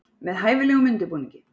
Með hæfilegum undirbúningi.